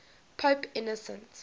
pope innocent